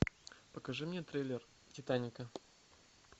покажи мне трейлер титаника